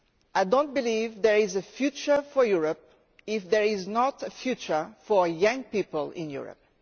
I do not believe there is a future for Europe if there is no future for young people in Europe.